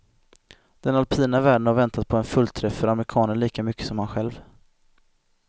Den alpina världen har väntat på en fullträff för amerikanen lika mycket som han själv.